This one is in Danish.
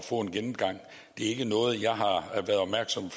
få en gennemgang det er ikke noget jeg har været opmærksom